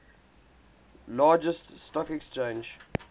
largest stock exchange